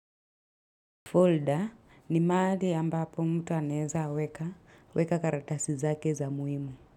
Folder ni mahali ambapo mtu anaeza weka, weka karatasi zake za muhimu.